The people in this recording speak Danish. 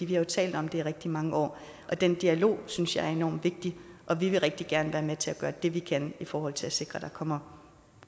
jo talt om det i rigtig mange år den dialog synes jeg er enormt vigtig og vi vil rigtig gerne være med til at gøre det vi kan i forhold til at sikre at der kommer